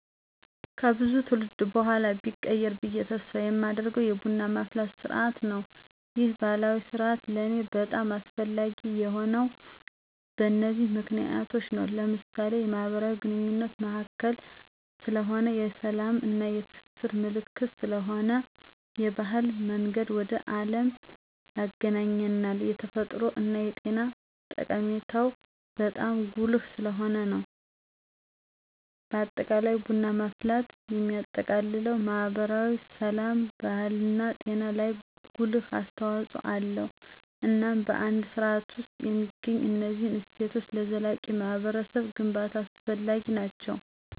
ከብዙ ትውልድ በኋላ ቢቆይ ብየ ተስፍ የማደርገው የቡና ማፍላት ስርዓት ነው። ይህ ባህላዊ ስርአት ለኔ በጣም አስፈላጊ የሆነው በነዚህ ምክንያቶች ነው። ለምሳሌ፦ የማህበራዊ ግንኙነት ማዕከል ስለሆነ፣ የስላም እና የትስስር ምልክት ስለሆነ፣ የባህል መንገድ ወደ አለም ያግናኘናል፣ የተፈጥሮ እና የጤና ጠቀሜታው በጣም ጉልህ ስለሆነ ነው። በአጠቃላይ ቡና ማፍላት የሚያጠቃልለው ማህበራዊ፣ ስላም፣ ባህልና ጤና ላይ ጉልህ አስተዋጽኦ አለው። እናም በአንድ ስርዓት ውስጥ የሚገኙት እነዚህ እሴቶች ለዘላቂ ማህበረሰብ ግንባታ አስፈላጊ ናቸው።